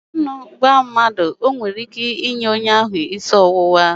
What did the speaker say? Ịgba aṅụ nwere ike ime gị isi ọwụwa